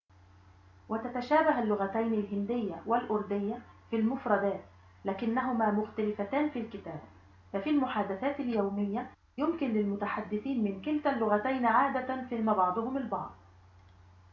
وتتشابه اللغتين الهندية والأردية في المفردات لكنهما مختلفتان في الكتابة ففي المحادثات اليومية يمكن للمتحدثين من كلتا اللغتين عادةً فهم بعضهم البعض